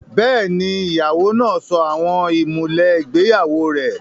Bẹ́ẹ̀ni, ìyàwó náà sọ àwọn ìmùlẹ̀ ìgbéyàwó rẹ̀